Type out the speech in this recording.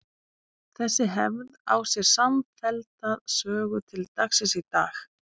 Þessi hefð á sér samfellda sögu til dagsins í dag.